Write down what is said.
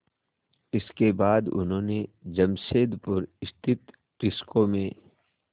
इसके बाद उन्होंने जमशेदपुर स्थित टिस्को में